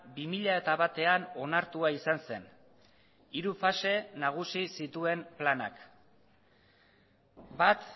bi mila batean onartua izan zen hiru fase nagusi zituen planak bat